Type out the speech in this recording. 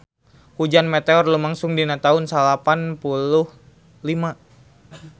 Hujan meteor lumangsung dina taun salapan puluh lima